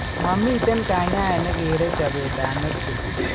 Momiiten kanyaayet ne kere chobetab nodules.